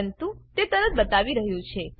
પરંતુ તે તરત બતાવી રહ્યું છે